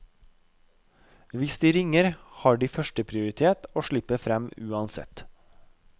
Hvis de ringer, har de førsteprioritet og slipper frem uansett.